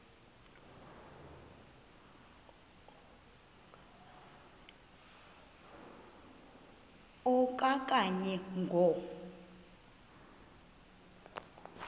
a okanye ngo